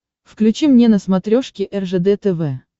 включи мне на смотрешке ржд тв